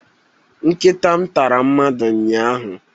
Nkịta m tara mmadụ ụnyahụ